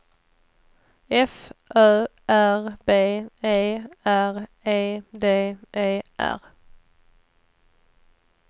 F Ö R B E R E D E R